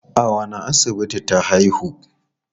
A wanne asibiti ta haihu?